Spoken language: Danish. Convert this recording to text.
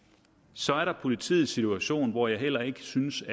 så er der politiets situation hvor jeg heller ikke synes